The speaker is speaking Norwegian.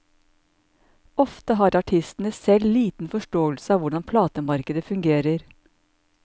Ofte har artistene selv liten forståelse av hvordan platemarkedet fungerer.